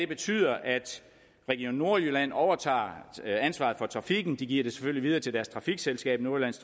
betyder at region nordjylland overtager ansvaret for trafikken og de giver det selvfølgelig videre til deres trafikselskab nordjyllands